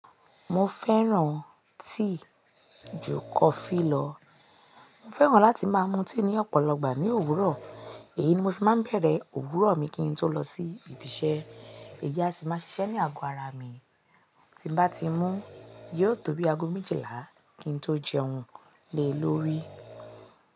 Mo fẹ́ran tea jù coffee lọ. Mo fẹ́ran láti máa mu tea ní ọ̀pọ̀lọpọ̀ ìgbà ní òwúrọ̀. Èyí ni mo fi máa ń bẹ̀rẹ̀ òwúrọ̀ mi kí n tó lọ sí ibi iṣẹ́. Èyí a sì máa ṣiṣẹ́ ní àgọ́ ara mi. Tí mo bá ti mú, yóò tó bí àgọ́ méjìlá kí n tó jẹ oúnjẹ lórí.